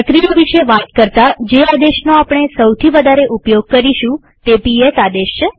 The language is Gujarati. પ્રક્રિયા વિશે વાત કરતા જે આદેશનો આપણે સૌથી વધારે ઉપયોગ કરીશું તે પીએસ આદેશ છે